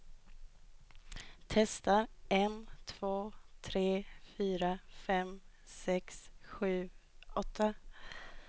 Testar en två tre fyra fem sex sju åtta.